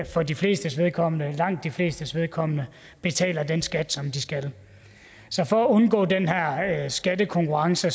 for de flestes vedkommende langt de flestes vedkommende betaler den skat som de skal så for at undgå den her skattekonkurrence